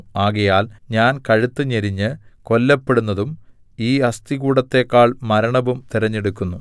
ആകയാൽ ഞാൻ കഴുത്ത് ഞെരിഞ്ഞ് കൊല്ലപ്പെടുന്നതും ഈ അസ്ഥികൂടത്തേക്കാൾ മരണവും തിരഞ്ഞെടുക്കുന്നു